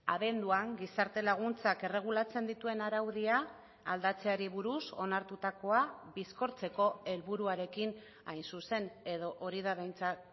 abenduan gizarte laguntzak erregulatzen dituen araudia aldatzeari buruz onartutakoa bizkortzeko helburuarekin hain zuzen edo hori da behintzat